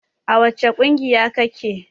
A wace ƙungiya ka ke?